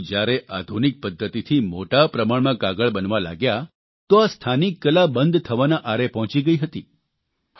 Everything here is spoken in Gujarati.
પરંતુ જયારે આધુનિક પદ્ધતિથી મોટા પ્રમાણમાં કાગળ બનવા લાગ્યા તો આ સ્થાનિક કલા બંધ થવાના આરે પહોંચી ગઇ હતી